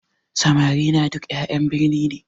Samari na duk ƴan birni ne